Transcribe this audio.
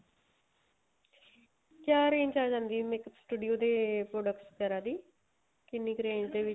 ਕਿਆ range ਚ ਆ ਜਾਂਦੀ ਏ makeup studio ਦੇ products ਵਗੈਰਾ ਦੀ ਕਿੰਨੀ ਕ range ਦੇ ਵਿੱਚ